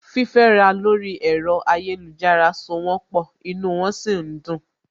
Fífẹ́ni lórí ẹ̀rọ ayélujára so wón pọ̀, inú wọn sì ń dùn